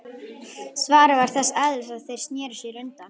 Svarið var þess eðlis að þeir sneru sér undan.